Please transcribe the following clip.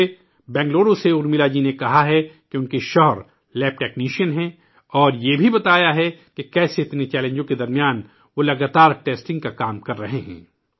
مجھے بینگلورو سے ارملا جی نے کہا ہے کہ انکے خاوند لیب ٹیکنیشین ہیں، اور یہ بھی بتایا ہے کہ کیسے اتنے چیلنجوں کے درمیان وہ مسلسل ٹیسٹنگ کا کام کرتے رہے ہیں